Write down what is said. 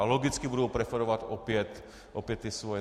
A logicky budou preferovat opět ty svoje.